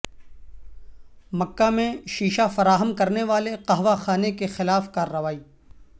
مکہ میں شیشہ فراہم کرنے والے قہوہ خانے کے خلاف کارروائی